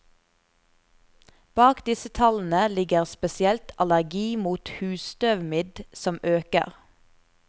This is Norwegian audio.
Bak disse tallene ligger spesielt allergi mot husstøvmidd, som øker.